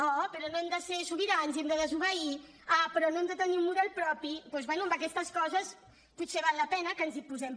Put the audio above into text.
oh però no hem de ser sobirans i hem de desobeir ah però no hem de tenir un model propi doncs bé en aquestes coses potser val la pena que ens hi posem